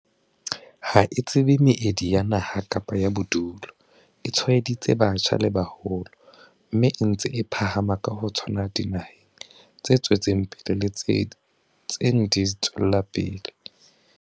Ha e tsebe meedi ya naha kapa ya bodulo, e tshwaeditse batjha le ba baholo, mme e ntse e phahama ka ho tshwana dinaheng tse tswetseng pele le tse ntseng di tswela pele.